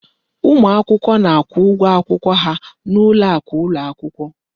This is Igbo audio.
Ụmụ akwụkwọ na-akwụ ụgwọ akwụkwọ ha n'ụlọ akụ ụlọ akwụkwọ.